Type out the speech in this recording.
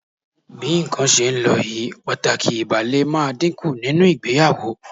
Bí nǹkan ṣe ń lọ yìí, pàtàkì ìbálé máa dínkù nínú ìgbéyàwó